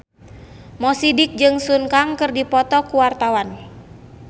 Mo Sidik jeung Sun Kang keur dipoto ku wartawan